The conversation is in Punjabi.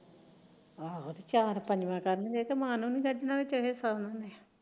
ਚਾਰ ਪੰਜਵਾਂ